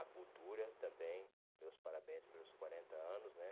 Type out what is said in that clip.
A cultura também, meus parabéns pelos quarenta anos, né?